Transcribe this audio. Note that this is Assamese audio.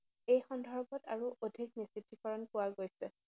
এই সন্দৰ্ভত আৰু অধিক নিশ্চিতিকৰণ পোৱা গৈছে।